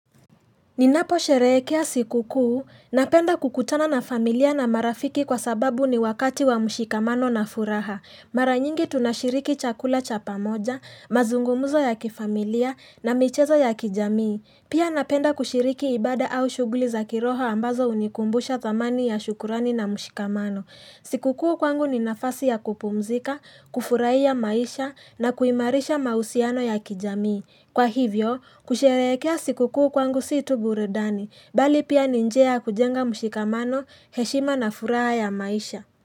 Ninaposherehekea sikukuu, napenda kukutana na familia na marafiki kwa sababu ni wakati wa mshikamano na furaha. Mara nyingi tunashiriki chakula cha pamoja, mazungumzo ya kifamilia na michezo ya kijamii. Pia napenda kushiriki ibada au shughuli za kiroho ambazo hunikumbusha thamani ya shukurani na mshikamano. Sikukuu kwangu ni nafasi ya kupumzika, kufurahia maisha na kuimarisha mahusiano ya kijamii. Kwa hivyo, kusherehekea sikukuu kwangu si tu burudani, bali pia ni njia ya kujenga mshikamano, heshima na furaha ya maisha.